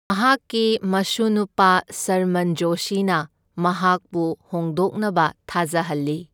ꯃꯍꯥꯛꯀꯤ ꯃꯁꯨꯅꯨꯄꯥ, ꯁꯔꯃꯟ ꯖꯣꯁꯤꯅ, ꯃꯍꯥꯛꯄꯨ ꯍꯣꯡꯗꯣꯛꯅꯕ ꯊꯥꯖꯍꯜꯂꯤ꯫